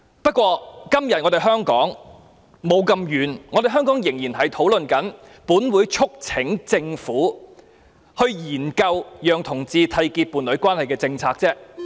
不過，今天的香港仍未走到這一步，仍只在討論"本會促請政府研究制訂讓同志締結伴侶關係的政策"。